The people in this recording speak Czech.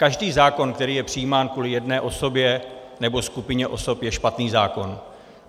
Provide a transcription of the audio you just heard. Každý zákon, který je přijímán kvůli jedné osobě nebo skupině osob, je špatný zákon.